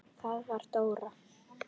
Það var Dóra.